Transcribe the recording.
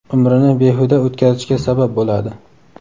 umrini behuda o‘tkazishga sabab bo‘ladi.